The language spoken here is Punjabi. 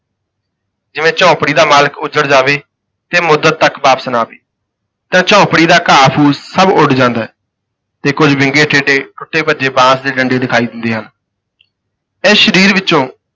ਜਿਵੇਂ ਝੋਂਪੜੀ ਦਾ ਮਾਲਕ ਉੱਜੜ ਜਾਵੇ ਤੇ ਮੁੱਦਤ ਤੱਕ ਵਾਪਸ ਨਾ ਆਵੇ ਤਾਂ ਝੋਂਪੜੀ ਦਾ ਘਾਹ ਫੂਸ ਸਭ ਉੱਡ ਜਾਂਦਾ ਹੈ, ਤੇ ਕੁੱਝ ਵਿੰਗੇ ਟੇਡੇ ਟੁੱਟੇ ਭੱਜੇ ਬਾਂਸ ਦੇ ਡੰਡੇ ਦਿਖਾਈ ਦਿੰਦੇ ਹਨ। ਇਸ ਸਰੀਰ ਵਿੱਚੋਂ